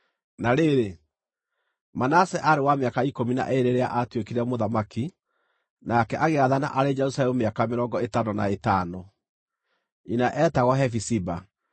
Na rĩrĩ, Manase aarĩ wa mĩaka ikũmi na ĩĩrĩ rĩrĩa aatuĩkire mũthamaki, nake agĩathana arĩ Jerusalemu mĩaka mĩrongo ĩtano na ĩtano. Nyina eetagwo Hefiziba.